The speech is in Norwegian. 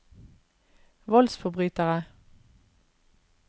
voldsforbrytere